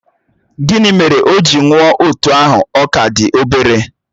Gịnị mere o ji nwụọ otú ahụ ọ ka dị obere?